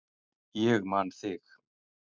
Ég man þig!